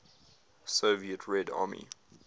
soviet red army